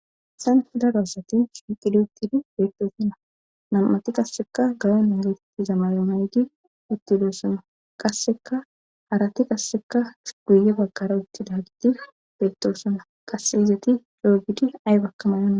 Hayan fida doossati shiqid uttidi beettoosana nam7ati qasseka gayon ingeetetti zamaryonaygi utti doossana qasseka harati qasseka guye bagqara uttida gidi beettosana qasse izeti doogidi ay bakkamayonna